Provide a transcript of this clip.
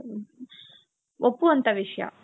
ಒಪ್ಪುವಂತ ವಿಷಯ